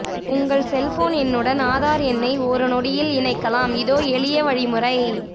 உங்கள் செல்போன் எண்ணுடன் ஆதார் எண்ணை ஒரு நொடியில் இணைக்கலாம் இதோ எளிய வழிமுறை